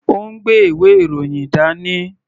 Ó ń gbé ìwé-ìròyìn dání.